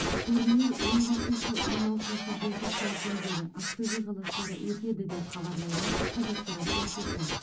турнир он бесінші он алтыншы желтоқсан күндері ақтөбе қаласында өтеді деп хабарлайды қазақпарат тілшісі